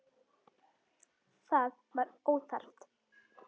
Það var óþarft.